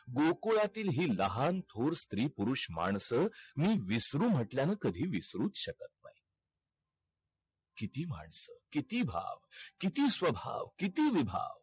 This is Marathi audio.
गोकुळातील ही लहान थोर स्त्री पुरुष माणसं मी विसरू म्हटल्यान कधी विसरूच शकत नाही. किती माणसं, किती भाव, किती स्वभाव, किती विभाव.